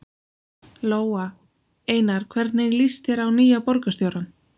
Lóa: Einar, hvernig líst þér á nýja borgarstjórann?